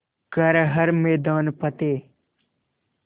कर हर मैदान फ़तेह